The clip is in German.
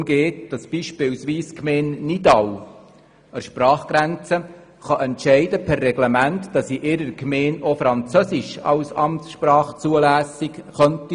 Dabei geht es darum, dass zum Beispiel die Gemeinde Nidau an der Sprachgrenze per Reglement entscheiden kann, dass in ihrer Gemeinde auch Französisch als Amtssprache zulässig ist.